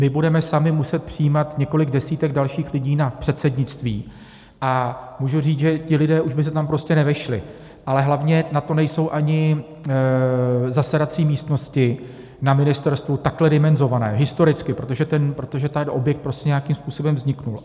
My budeme sami muset přijímat několik desítek dalších lidí na předsednictví a můžu říct, že ti lidé už by se tam prostě nevešli, ale hlavně na to nejsou ani zasedací místnosti na ministerstvu takhle dimenzované historicky protože ten objekt prostě nějakým způsobem vznikl.